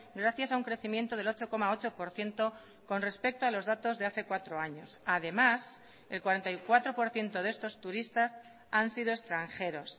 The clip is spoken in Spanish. gracias a un crecimiento del ocho coma ocho por ciento con respecto a los datos de hace cuatro años además el cuarenta y cuatro por ciento de estos turistas han sido extranjeros